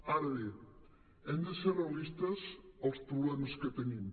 ara bé hem de ser realistes als problemes que tenim